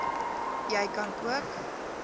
jy kan ook